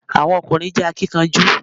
Àwọn ọ̀kùnrin jẹ́ akínkanjú